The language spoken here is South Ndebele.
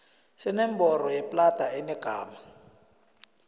senomboro yeplada enegama